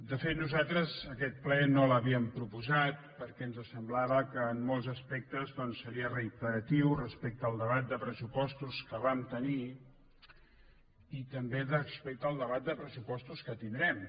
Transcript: de fet nosaltres aquest ple no l’havíem proposat perquè ens semblava que en molts aspectes doncs seria reiteratiu respecte al debat de pressupostos que vam tenir i també respecte al debat de pressupostos que tindrem